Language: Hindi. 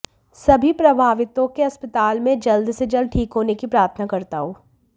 सभी प्रभावितों के अस्पताल में जल्द से जल्द ठीक होने की प्रार्थना करता हूं